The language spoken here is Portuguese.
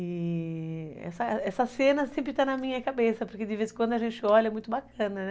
E... essa essa cena sempre está na minha cabeça, porque de vez em quando a gente olha, é muito bacana, né